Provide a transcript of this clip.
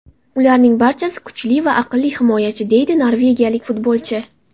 Ularning barchasi kuchli va aqlli himoyachi”, deydi norvegiyalik futbolchi.